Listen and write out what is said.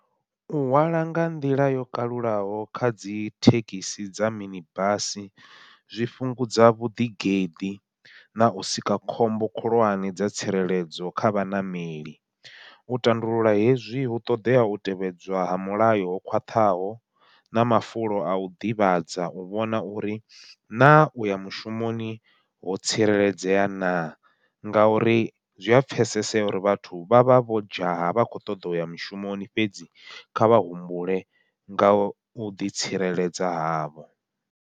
U hwala nga nḓila yo kalulaho kha dzi thekhisi dza mini basi, zwi fhungudza vhuḓigeḓi nau sika khombo khulwane dza tsireledzo kha vhaṋameli. U tandulula hezwi hu ṱoḓea u tevhedzwa ha mulayo ho khwaṱhaho, na mafulo au ḓivhadza u vhona uri na uya mushumoni ho tsireledzeaho ya na, ngauri zwi a pfhesesea uri vhathu vha vha vho dzhaya vha kho ṱoḓa uya mishumoni fhedzi kha vha humbule ngau ḓitsireledza havho.